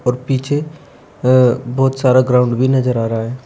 और पीछे अ बहुत सारा ग्राउंड भी नजर आ रहा है।